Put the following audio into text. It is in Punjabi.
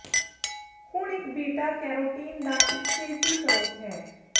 ਹੁਣ ਇਹ ਬੀਟਾ ਕੈਰੋਟੀਨ ਦਾ ਇੱਕ ਸੇਸੀ ਸਰੋਤ ਹੈ